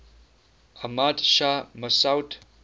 ahmad shah massoud